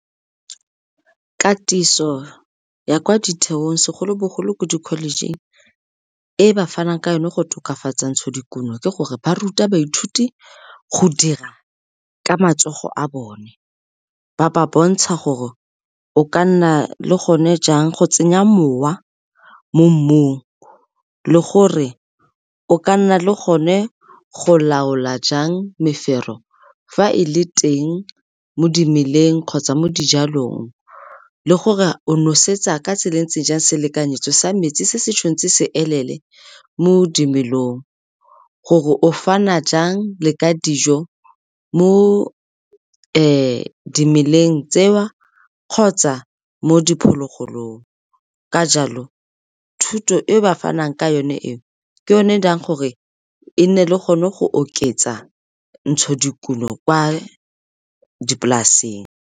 Katiso ya kwa ditheong segolobogolo ko dikholejing e ba fanang ka yone go tokafatsa ntshodikuno ke gore ba ruta baithuti go dira ka matsogo a bone, ba ba bontsha gore o ka nna le gone jang go tsenya mowa mo mmung le gore o ka nna le gone go laola jang mefero fa e le teng mo dimeleng kgotsa mo dijalong le gore o nosetsa ka tsela e ntseng jang, selekanyetso sa metsi se se tshwanetse se elele mo dimelong. Gore o fana jang le ka dijo mo dimeleng tse wa kgotsa mo diphologolong. Ka jalo thuto e ba fanang ka yone eo ke yone e dirang gore e nne le gone go oketsa ntshodikuno kwa dipolaseng.